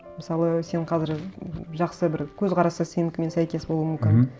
мысалы сен қазір жақсы бір көзқарасы сенікімен сәйкес болуы мүмкін мхм